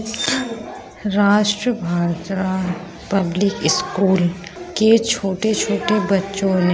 राष्ट्रभाषा public school के छोटे-छोटे बच्चों ने --